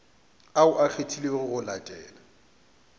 ao a kgethilwego go latela